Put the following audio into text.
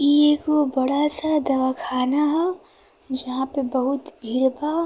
इ एगो बड़ा सा दवाखाना ह जहां पे बहुत भीड़ बा।